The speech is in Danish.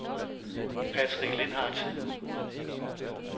Patrick Lindhardt